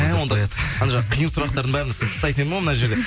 мә онда қиын сұрақтардың бәрін сыптайтын едім ғой мына жерде